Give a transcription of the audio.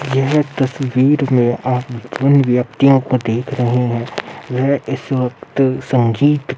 यह तस्वीर में आप जिन व्यक्तियों को देख रहे हैं वह इस वक्त संगीत --